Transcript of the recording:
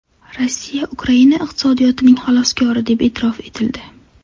Rossiya Ukraina iqtisodiyotining xaloskori deb e’tirof etildi.